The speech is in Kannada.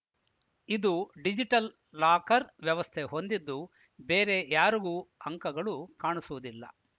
ಇದು ಡಿಜಿಟಲ್‌ ಲಾಕರ್‌ ವ್ಯವಸ್ಥೆ ಹೊಂದಿದ್ದು ಬೇರೆ ಯಾರಿಗೂ ಅಂಕಗಳು ಕಾಣಸಿಗುವುದಿಲ್ಲ